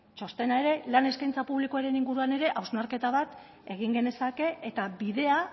txostena ere lan eskaintza publikoren inguruan ere hausnarketa bat egin genezake eta bidea